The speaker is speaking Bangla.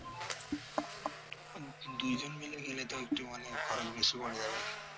দুজন মিলে গেলে তাই একটু মানে খরচ বেশি পড়ে যাবে